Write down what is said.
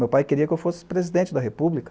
Meu pai queria que eu fosse presidente da república.